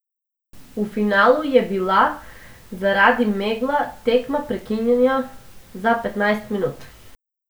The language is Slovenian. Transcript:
V finalu je bila zaradi megla tekma prekinjena za petnajst minut.